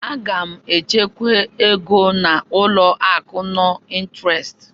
A ga m echekwa ego n'ụlọ akụ nọn ịnterest.